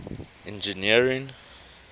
engineering